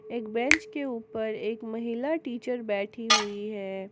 एक बेंच के ऊपर एक महिला टीचर बैठी हुई है।